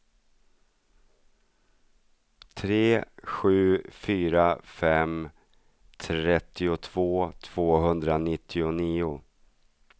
tre sju fyra fem trettiotvå tvåhundranittionio